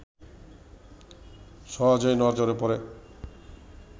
সহজেই নজরে পড়ে